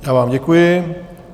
Já vám děkuji.